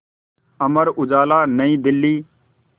Amar Ujala Nai Delhi